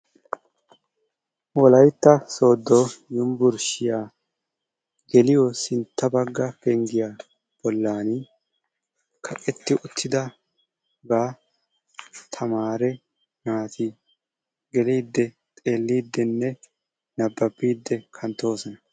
Wollaytta soddo uniburushshiyaa geliyo sintta bagga penggiya bollan kaqqetti uttidabaa tamare naati geeliiddi xeellidinne nababiidi kanttoosona.